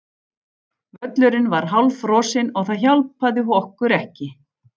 Völlurinn var hálffrosinn og það hjálpaði okkur ekki.